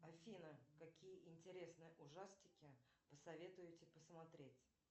афина какие интересные ужастики посоветуете посмотреть